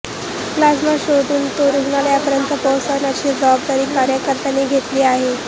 plasma शोधून तो रुग्णांपर्यंत पोहोचवण्याची जबाबदारी कार्यकर्त्यांनी घेतली आहे